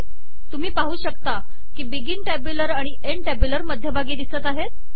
तुम्ही पाहू शकता की बिगिन टॅब्युलर आणि एन्ड टॅब्युलर मध्यभागी िदसत आहेत